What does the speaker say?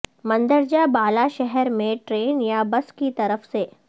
مندرجہ بالا شہر میں ٹرین یا بس کی طرف سے